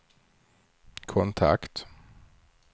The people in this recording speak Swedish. kontakt